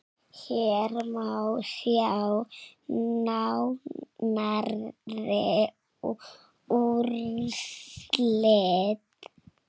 Hér má sjá nánari úrslit.